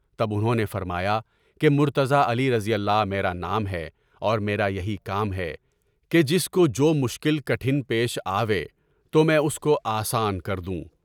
تب انہوں نے فرمایا کہ مرتضیٰ رضی اللہ میرا نام ہے اور میرا یہی کام ہے کہ جس کو جو مشکل کٹھن پیش آوے تو میں اس کو آسان کر دوں۔